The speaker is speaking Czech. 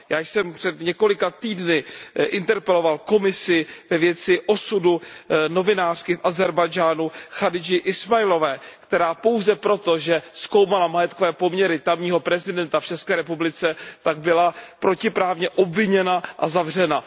Já jsem před několika týdny interpeloval Komisi ve věci osudu novinářky v Ázerbájdžánu Chadidži Ismailové, která pouze proto, že zkoumala majetkové poměry tamního prezidenta v ČR, tak byla protiprávně obviněna a zavřena.